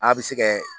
A bɛ se kɛ